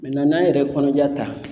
n'an yɛrɛ ye kɔnɔja ta